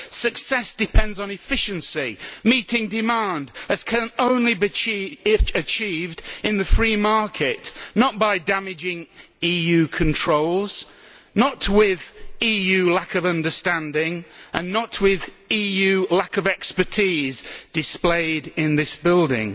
Success depends on efficiency and meeting demand as can only be achieved in the free market not by damaging EU controls, not with EU lack of understanding and not with EU lack of expertise as displayed in this building.